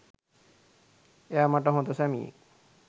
එයා මට හොඳ සැමියෙක්